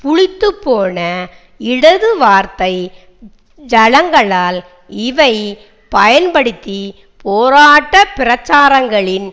புளித்துப் போன இடது வார்த்தை ஜாலங்களால் இவை பயன்படுத்தி போராட்டப் பிரச்சாரங்களின்